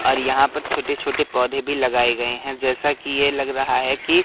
और यहां पर छोटे छोटे पौधे भी लगाए गएं हैं जैसा कि यह लग रहा है कि--